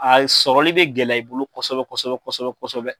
A sɔrɔli bɛ gɛlɛya i bolo kɔsɛbɛ kɔsɛbɛ kɔsɛbɛ kɔsɛbɛ